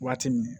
Waati min